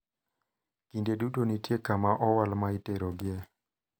Kinde duto nitie kama owal ma iterogie.